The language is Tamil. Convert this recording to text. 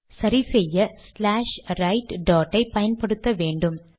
சரிசெய்ய ஸ்லாஷ் ரைட் டாட் ஐ பயன்படுத்த வேன்டும்